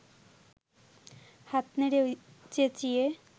হাত নেড়ে চেঁচিয়ে